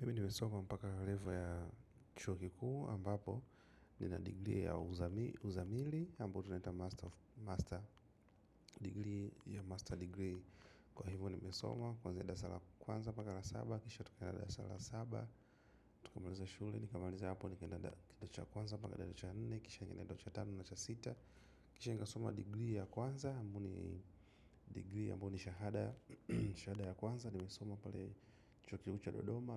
Mimi nimesoma mpaka revo ya chuokikuu ambapo nina degree ya uzamili ambao tunaita master degree ya master degree. Kwa hivyo nimesoma. Kwa zenda sala kwanza paka la saba. Kisha tukanya dada sala saba. Tukamaliza shule. Nikamaliza hapo ni kenda dacha kwanza paka dacha nene. Kisha nenda dacha tano na cha sita. Kisha nika soma degree ya kwanza ambao ni degree ambao ni shahada. Shahada ya kwanza. Nimesoma pale chuokiku cha dodoma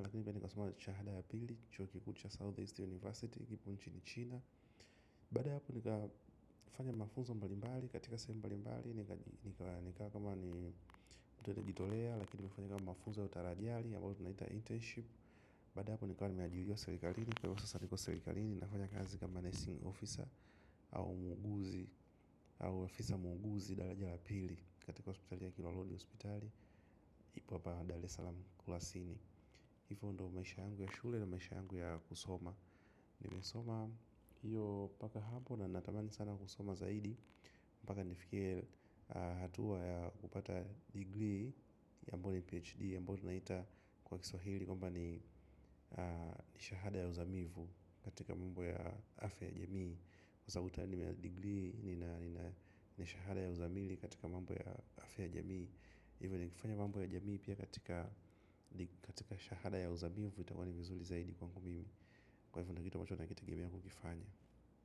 shahada ya pili, chuo kikuucha South East University ipo nchi ni China. Bada hapo nika fanya mafunzo mbalimbali. Katika sehemu mbalimbali. Nika kama ni Kitolea, lakini mefanja kama mafunzo ya utaradiali Yabalu tunaita internship. Baada ya hapo nika wani meajiriwa serikalini. Kwa iosa saniko serikalini, nafanya kazi kama nursing officer. Au muuguzi. Au officer muuguzi. Dara ja yapili, katika hospital ya kiloloni. Hospitali, ipo hapa. Dara ya Salam Kulasini. Hivo ndo maisha yangu ya shule, na maisha yangu ya kusoma nimeosoma hiyo mpaka hapo na natamani sana kusoma zaidi. Mpaka nifikie hatuwa ya kupata degree ya ambaoni PhD ambao tunaita kwa kiswahili kwambani nishahada ya uzamivu katika mambo ya afya ya jamii. Kwa sababu tayari nina degree nina shahada ya uzamili katika mambo ya afya ya jamii. Ivo nikifanya mambo ya jamii pia katika shahada ya uzamivu itakuwani vizuli zaidi kwangu mimi. Kwa hivyo ni kitu ambacho na kitegemea kukifanya.